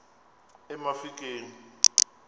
emafikeng